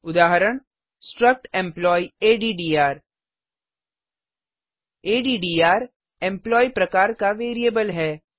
उदाहरण struct employee अद्द्र addrएम्प्लॉयी प्रकार का वेरिएबल है